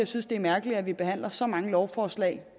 synes det er mærkeligt at vi behandler så mange lovforslag